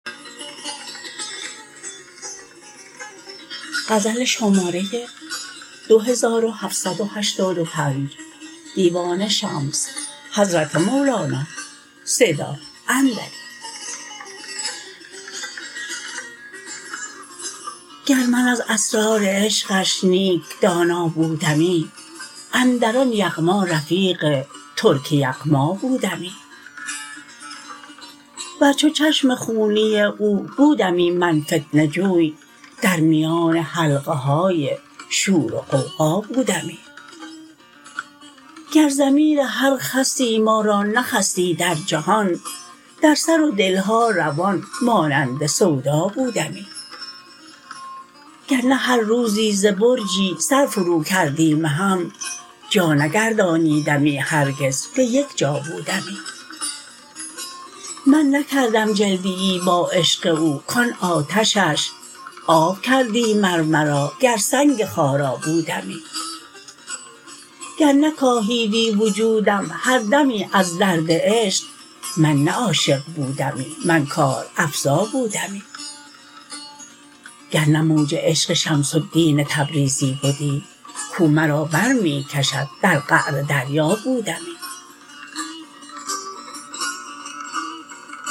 گر من از اسرار عشقش نیک دانا بودمی اندر آن یغما رفیق ترک یغما بودمی ور چو چشم خونی او بودمی من فتنه جوی در میان حلقه های شور و غوغا بودمی گر ضمیر هر خسی ما را نخستی در جهان در سر و دل ها روان مانند سودا بودمی گر نه هر روزی ز برجی سر فروکردی مهم جا نگردانیدمی هرگز به یک جا بودمی من نکردم جلدیی با عشق او کان آتشش آب کردی مر مرا گر سنگ خارا بودمی گر نکاهیدی وجودم هر دمی از درد عشق من نه عاشق بودمی من کارافزا بودمی گر نه موج عشق شمس الدین تبریزی بدی کو مرا بر می کشد در قعر دریا بودمی